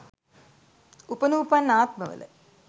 උපනුපන් ආත්ම වල